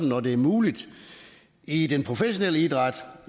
når det er muligt i den professionelle idræt